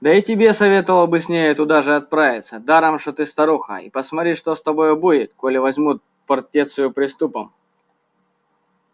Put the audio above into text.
да и тебе советовал бы с нею туда же отправиться даром что ты старуха а посмотри что с тобою будет коли возьмут фортецию приступом